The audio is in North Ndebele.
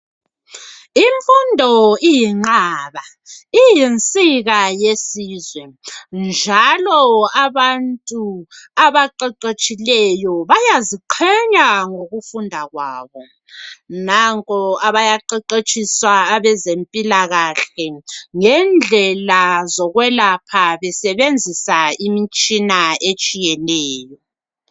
Imfundo iyinqaba, iyinsika yesizwe njalo abantu abaqeqetshileyo bayaziqhenya ngokufunda kwabo. Nanko bayaqeqetshiswa abezempilakahle ngendlela zokwelapha besebenzisa imitshina etshiyeneyo.